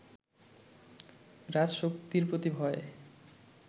রাজশক্তির প্রতি ভয়